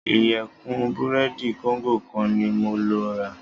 Ìyẹ̀fun búrẹ́dì kóńgò kan ní mo lọ rà.